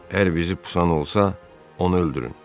Hər bizi pusan olsa, onu öldürün.